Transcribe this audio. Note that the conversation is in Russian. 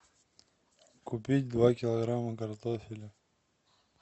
купить два килограмма картофеля